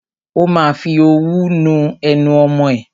Ó ma fi òwú nu ẹnu ọmọ ẹ.